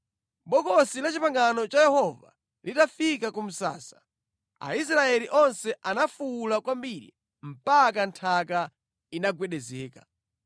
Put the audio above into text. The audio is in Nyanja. Bokosi la Chipangano cha Yehova litafika ku msasa, Aisraeli onse anafuwula kwambiri mpaka nthaka inagwedezeka.